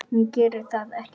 Hún gerir það ekki.